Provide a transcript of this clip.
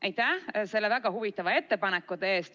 Aitäh selle väga huvitava ettepaneku eest!